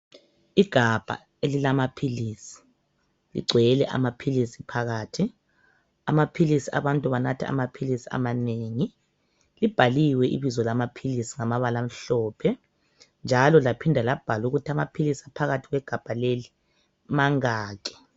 Igabha elilamaphilisi ligcwele amaphilisi phakathi. Abantu banatha amaphilisi amanengi. Libhaliwe ibizo lamaphilisi ngamabala amhlophe njalo laphinda labhala ukuthi mangaki phakathi.